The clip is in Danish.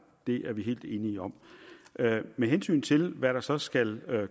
det er vi helt enige om med hensyn til hvad der så skal